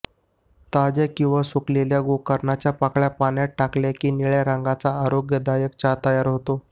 ताज्या किंवा सुकवलेल्या गोकर्णाच्या पाकळ्या पाण्यात टाकल्या की निळ्या रंगाचा आरोग्यदायक चहा तयार होतो